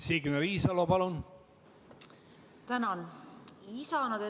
Signe Riisalo, palun!